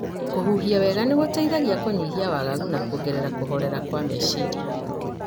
Kũhũhia wega nĩ gũteithagia kũnyihia wagagu na kũongerera kũhorera kwa meciria.